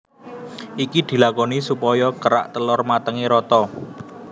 Iki dilakoni supaya kerak telor matenge rata